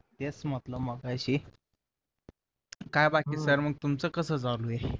तेच म्हटलं मगाशी काय बाकी सर मग तुमचं काय चालू आहे?